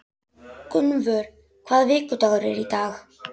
Gunnvör, hvaða vikudagur er í dag?